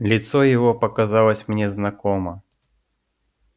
лицо его показалось мне знакомо